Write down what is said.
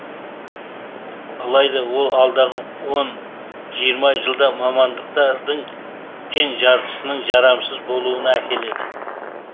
алайда ол алдағы он жиырма жылда мамандықтардың тең жартысының жарамсыз болуына әкеледі